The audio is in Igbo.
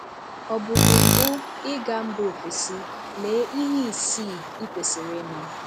Ọ bụ gị mbụ ịga mba ofesi, lee ihe isii i kwesịrị ịma